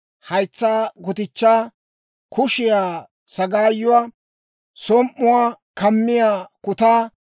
haytsaa gutichchaa, kushiyaa sagaayuwaa, som"uwaa kammiyaa kutaa,